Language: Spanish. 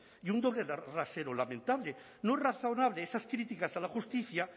y un doble rasero lamentable no es razonable esas críticas a la justicia